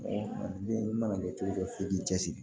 Ni i mana kɛ cogo cogo f'i k'i cɛsiri